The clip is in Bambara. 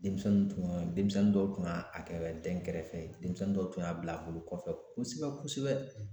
Denmisɛnnin tun ye denmisɛnnin dɔw tun y'a a kɛ dɛnkɛrɛfɛ ye denmisɛnnin dɔw tun y'a bila bolokɔfɛ kosɛbɛ kosɛbɛ